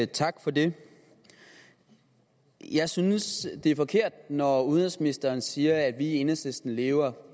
tak for det jeg synes det er forkert når udenrigsministeren siger at vi i enhedslisten lever